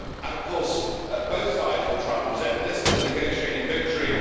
Of course, both sides will try and present this as a negotiating victory.